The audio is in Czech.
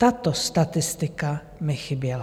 Tato statistika mi chyběla.